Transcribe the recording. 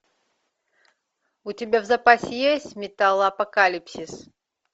у тебя в запасе есть металлопокалипсис